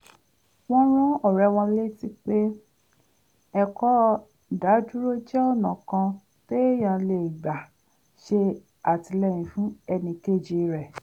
wọ́n rán ọ̀rẹ́ wọn létí pé ẹ̀kọ́ ìdádúró jẹ́ ọ̀nà kan téèyàn lè gbà ṣè àtìlẹ́yìn fún ẹnì kejì rẹ̀